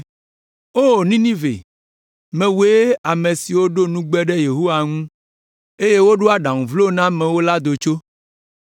O Ninive, mewòe ame si ɖo nugbe ɖe Yehowa ŋu, eye wòɖo aɖaŋu vlo na amewo la do tso.